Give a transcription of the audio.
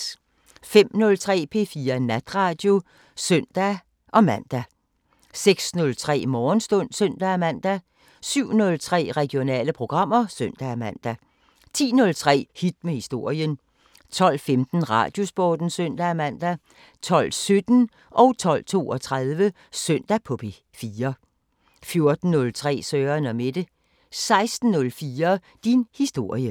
05:03: P4 Natradio (søn-man) 06:03: Morgenstund (søn-man) 07:03: Regionale programmer (søn-man) 10:03: Hit med historien 12:15: Radiosporten (søn-man) 12:17: Søndag på P4 12:32: Søndag på P4 14:03: Søren & Mette 16:04: Din historie